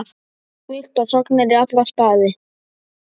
Villtar sagnir í alla staði.